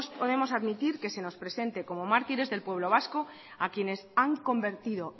podemos admitir que se nos presente como mártires del pueblo vasco a quienes han convertido